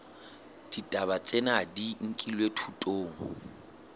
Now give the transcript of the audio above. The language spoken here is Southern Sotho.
ditaba tsena di nkilwe thutong